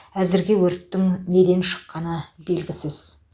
әзірге өрттің неден шыққаны белгісіз